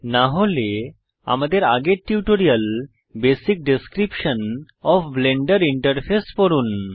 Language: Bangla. না হলে আমাদের আগের tutorial basic description of blender interface পড়ুন